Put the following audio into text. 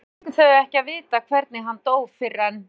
Reyndar fengu þau ekki að vita hvernig hann dó fyrr en